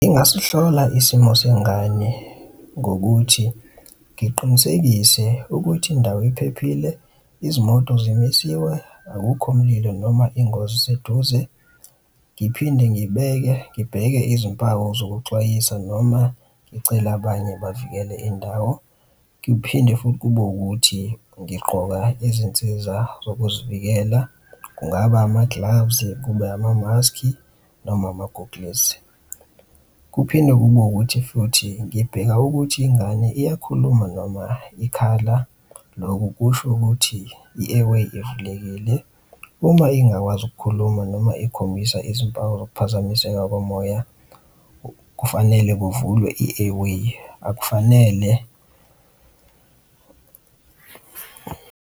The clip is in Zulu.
Ingasihlola isimo sengane ngokuthi ngiqinisekise ukuthi indawo iphephile, izimoto zimisiwe akukho mlilo noma ingozi iseduze. Ngiphinde ngibeke, ngibheke izimpawu zokuxwayisa noma ngicele abanye bavikele indawo ngiphinde futhi kube ukuthi ngigqoka izinsiza zokuzivikela. Kungaba ama-gloves, kube amamaski, noma ama-goggles. Kuphinde kube ukuthi futhi ngibheka ukuthi ingane iyakhuluma noma ikhala, loku kusho ukuthi i-air way ivulekile. Uma ingakwazi ukukhuluma noma ikhombisa izimpawu zokuphazamiseka komoya, kufanele kuvulwe i-air way akufanele.